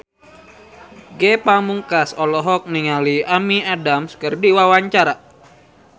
Ge Pamungkas olohok ningali Amy Adams keur diwawancara